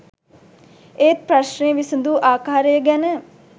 ඒත් ප්‍රශ්නය විසඳු ආකාරය ගැන